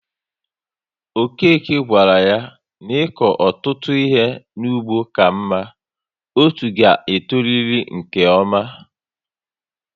Okeke gawara yá n'iko ọtụtụ ihe n'ugbo ka mma, otú ga e toriri nke ọma